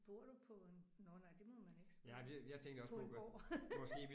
Bor du på en nåh nej det må man ikke spørge om på en gård